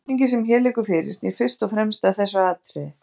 Spurningin sem hér liggur fyrir snýr fyrst og fremst að þessu atriði.